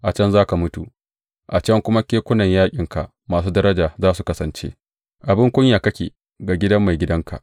A can za ka mutu a can kuma kekunan yaƙinka masu daraja za su kasance, abin kunya kake ga gidan maigidanka!